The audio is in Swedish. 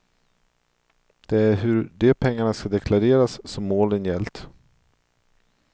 Det är hur de pengarna ska deklareras som målen gällt.